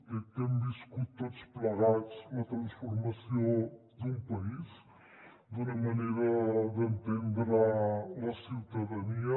crec que hem viscut tots plegats la transformació d’un país d’una manera d’entendre la ciutadania